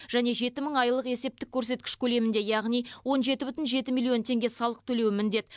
және жеті мың айлық есептік көрсеткіш көлемінде яғни он жеті бүтін жеті миллион теңге салық төлеуі міндет